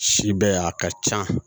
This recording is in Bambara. Si bɛ a ka can